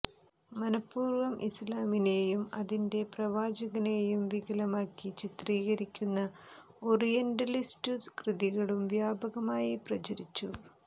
മനഃപൂര്വം ഇസ്ലാമിനേയും അതിന്റെ പ്രവാചകനേയും വികലമാക്കി ചിത്രീകരിക്കുന്ന ഓറിയന്റലിസ്റ്റു കൃതികളും വ്യാപകമായി പ്രചരിച്ചു